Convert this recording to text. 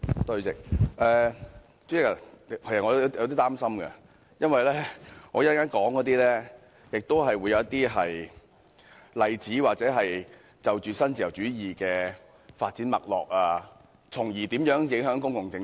主席，其實我有點擔心，因為我稍後亦會舉出一些例子或就新自由主義的發展脈絡發言，從而說明如何影響公共政策。